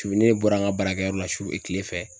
Su ni e bɔra an ka baarakɛyɔrɔ la su kile fɛ